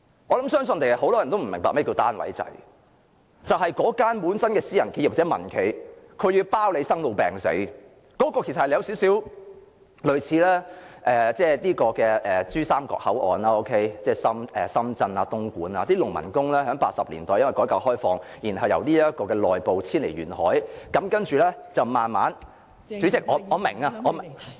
我相信很多人也不明白甚麼是單位制，就是私人企業或民間企業要承包生老病死，有少許類似珠三角口岸，即深圳、東莞等，農民工在1980年代因改革開放，由內部遷往沿海，慢慢......代理主席，我明白，我明白......